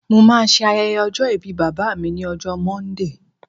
mo ma se ayẹyẹ ọjọ ìbí bàbá mi ni ọjọ monday